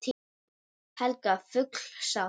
Helga: Full sátt?